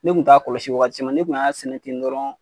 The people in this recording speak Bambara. Ne kun t'a kɔlɔsi wagati cama ne kun y'a sɛnɛ ten dɔrɔn